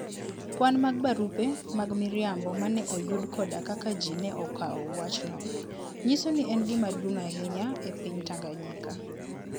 Kwan mag barupe mag miriambo ma ne oyud koda kaka ji ne okawo wachno, nyiso ni en gima duong ' ahinya e piny Tanganyika.